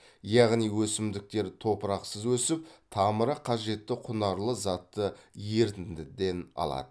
яғни өсімдіктер топырақсыз өсіп тамыры қажетті құнарлы затты ерітіндіден алады